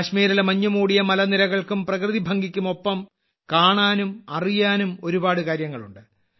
കാശ്മീരിലെ മഞ്ഞുമൂടിയ മലനിരകൾക്കും പ്രകൃതിഭംഗിക്കുമൊപ്പം കാണാനും അറിയാനും ഒരുപാട് കാര്യങ്ങൾ ഉണ്ട്